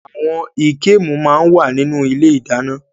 Àwọn ìkemù máa ń wà ní ilé ìdáná.